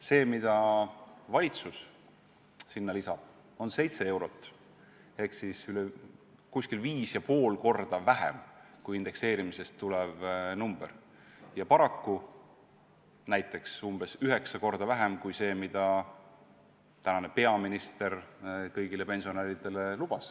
See, mida valitsus sinna lisab, on 7 eurot ehk umbes viis ja pool korda vähem kui indekseerimisest tulenev number ja paraku umbes üheksa korda vähem kui see, mida tänane peaminister kõigile pensionäridele on lubanud.